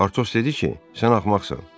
Partos dedi ki, sən axmaqsan.